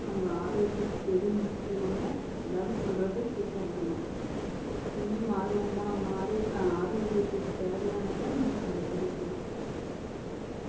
நம்ம ஆரோக்கியத்துக்கு எது முக்கியம்னு எல்லாரும் சொல்றதை இனிமேல் மாறுவோமா மாறி ஹம் ஆரோக்கியத்திற்கு தேவையானதை நம்ம கடைபிடிக்கலாம்